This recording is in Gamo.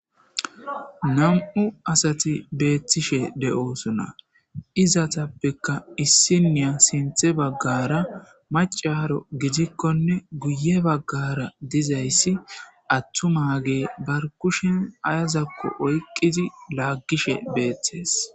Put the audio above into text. Nam'u asati beettishe de'osuna izatappekka issiniya sinthe baggara macaro gidikkonne guye baggara dizayssi attumage bar kushen ayazakko oyqqizi laaggishe beeththees.